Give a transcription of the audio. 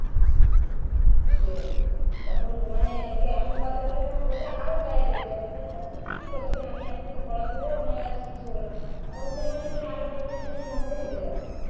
হম তখন মানে এমন কথা বলবে তোমার ওটা আরো গায়ে লেগে যাবে তো ঠিকই বলছি আমি এতদিন পড়া করেও আমার আর কিছু হল না তখন সেখানে তুমি আরও depression এর মধ্যে চলে যাবে